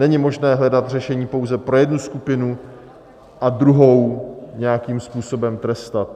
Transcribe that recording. Není možné hledat řešení pouze pro jednu skupinu a druhou nějakým způsobem trestat.